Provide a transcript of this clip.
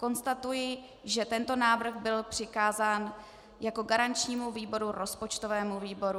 Konstatuji, že tento návrh byl přikázán jako garančnímu výboru rozpočtovému výboru.